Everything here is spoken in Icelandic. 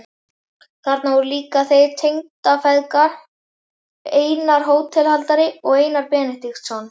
Þarna voru líka þeir tengdafeðgar, Einar hótelhaldari og Einar Benediktsson.